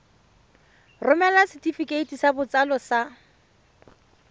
romela setefikeiti sa botsalo sa